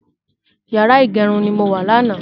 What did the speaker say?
Yàrá ìgẹrun ni mo wà lánàá